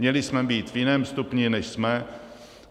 Měli jsme být v jiném stupni, než jsme.